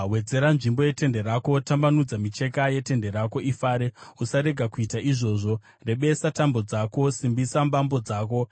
Wedzera nzvimbo yetende rako, tambanudza micheka yetende rako ifare, usarega kuita izvozvo; rebesa tambo dzako, simbisa mbambo dzako.